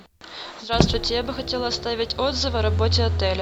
здравствуйте я бы хотела оставить отзыв о работе отеля